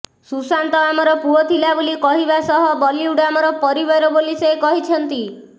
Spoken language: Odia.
ସୁଶାନ୍ତ ଆମର ପୁଅ ଥିଲା ବୋଲି କହିବା ସହ ବଲିଉଡ୍ ଆମର ପରିବାର ବୋଲି ସେ କହିଛନ୍ତି